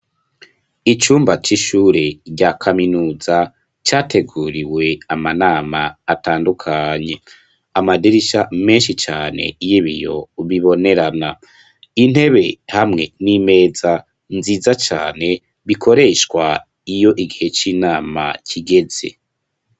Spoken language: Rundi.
Icumba c'ishure rya kaminuza categuriwe amanama atandukanye, amadirisha menshi cane y'ibiyo ubibonerana intebe hamwe n'imeza nziza cane bikoreshwa iyo igihe c'inama kigeze.